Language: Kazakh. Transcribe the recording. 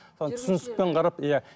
сол түсіністік қарап иә